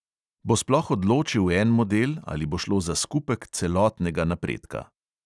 Bo sploh odločil en model ali bo šlo za skupek celotnega napredka?